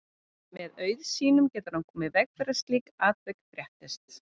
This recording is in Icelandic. Með auð sínum getur hann komið í veg fyrir að slík atvik fréttist.